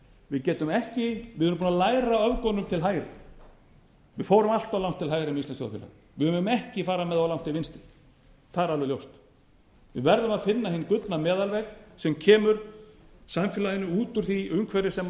við erum búin að læra af öfgunum til hægri við fórum allt of langt til hægri með íslenskt þjóðfélag við megum ekki fara með það of langt til vinstri það er alveg ljóst við verðum að finna hinn gullna meðalveg sem kemur samfélaginu út úr því umhverfi sem